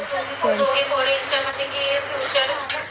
दोन्ही पोरीचं म्हनजे की future